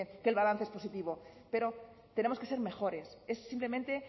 que el balance positivo pero tenemos que ser mejores es simplemente